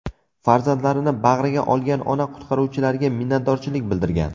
Farzandlarini bag‘riga olgan ona qutqaruvchilarga minnatdorchilik bildirgan.